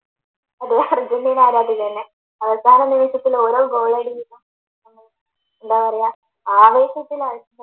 അതെ അർജൻറ്റീന ആരാധികയെന്നെ അവസാന നിമിഷത്തിൽ ഓരോ ഗോൾ അടിയിലും എന്താ പറയാ ആവേശത്തിലാണ്